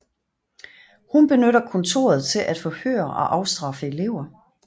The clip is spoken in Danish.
Hun benytter kontoret til at forhøre og afstraffe elever